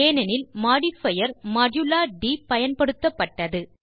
ஏனெனில் modifier modulate பயன்படுத்தப்பட்டது